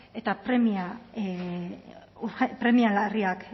eta premia larriak